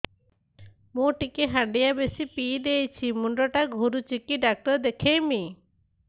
ମୁଇ ଟିକେ ହାଣ୍ଡିଆ ବେଶି ପିଇ ଦେଇଛି ମୁଣ୍ଡ ଟା ଘୁରୁଚି କି ଡାକ୍ତର ଦେଖେଇମି